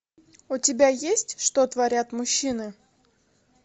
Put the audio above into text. у тебя есть что творят мужчины